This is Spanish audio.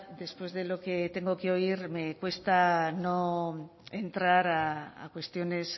después de lo que tengo que oír me cuesta no entrar a cuestiones